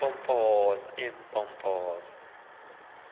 nde ayesoloko empompoza